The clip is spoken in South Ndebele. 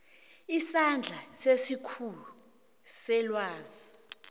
isandla sesikhulu selwazi